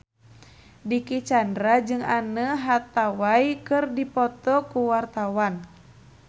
Dicky Chandra jeung Anne Hathaway keur dipoto ku wartawan